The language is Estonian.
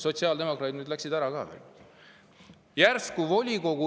Sotsiaaldemokraadid läksid nüüd siit ära.